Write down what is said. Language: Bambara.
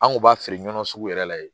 An kun b'a feere ɲɔn sugu yɛrɛ la yen